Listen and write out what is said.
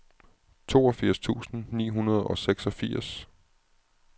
toogfirs tusind ni hundrede og seksogfirs